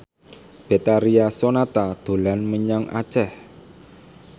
Betharia Sonata dolan menyang Aceh